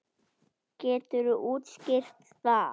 Geturðu útskýrt það?